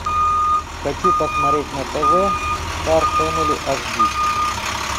хочу посмотреть на тв стар фэмели аш ди